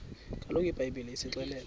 kaloku ibhayibhile isixelela